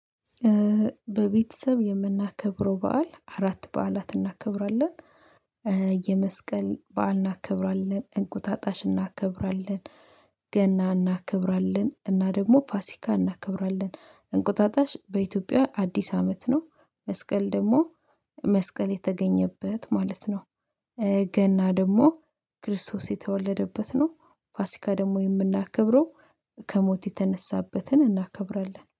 በቤተሰብ የምናከብረው በዓል አራት በዓላት እናከብራለን። የመስቀል በዓል እናከብራለን እንቁጣጣሽ እናከብራለን። ገና እናከብራለን እና ደግሞ ፋሲካ እናከብራለን። እንቁጣጣሽ በኢትዮጵያ አዲስ አመት ነው። መስቀል ደግሞ መስቀል የተገኘበት ማለት ነው። ገና ደግሞ ክርስቶስ የተወለደበት ነው። ፋሲካ ደግሞ የምናከብረው ከሞት የተነሳበትን እናከብራለን